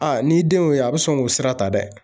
Aa n'i denw ye o ye a bɛ sɔn k'o sira ta dɛ.